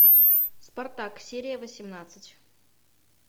спартак серия восемнадцать